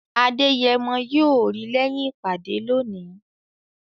Adeyemo yóò rí lẹ́yìn ìpàdé lónìí